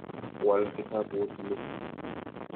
Wal kitaput ni.